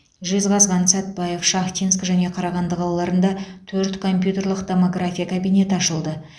жезқазған сәтбаев шахтинск және қарағанды қалаларында төрт компьютерлік томография кабинеті ашылды